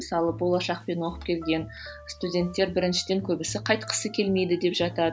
мысалы болашақпен оқып келген студенттер біріншіден көбісі қайтқысы келмейді деп жатады